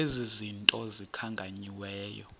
ezi zinto zikhankanyiweyo